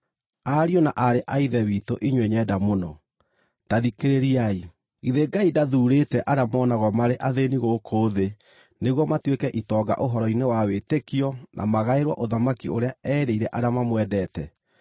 Ariũ na aarĩ a Ithe witũ inyuĩ nyenda mũno, ta thikĩrĩriai: Githĩ Ngai ndathuurĩte arĩa monagwo marĩ athĩĩni gũkũ thĩ nĩguo matuĩke itonga ũhoro-inĩ wa wĩtĩkio na magaĩrwo ũthamaki ũrĩa erĩire arĩa mamwendete?